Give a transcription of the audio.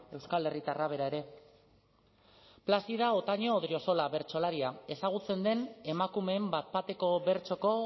euskal herritarra bera ere plazida otaño odriozola bertsolaria ezagutzen den emakumeen bat bateko bertsoko